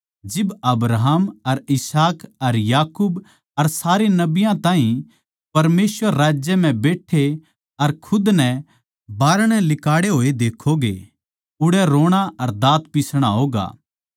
जिब अब्राहम अर इसहाक अर याकूब अर सारे नबियाँ ताहीं परमेसवर राज्य म्ह बैट्ठे अर खुद नै बाहरणै लिकाड़े होए देक्खोगे उड़ै रोणा अर दाँत पिसणा होगा